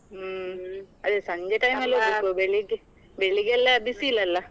ಹ್ಮ್, ಅದೇ ಸಂಜೆ ಬೆಳಿಗೆ ಬೆಳ್ಳಿಗೆಯೆಲ್ಲಾ ಬಿಸಿಲಲ್ಲ.